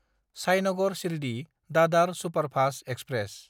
Sainagar Shirdi Dadar superfast express